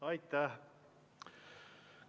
Aitäh!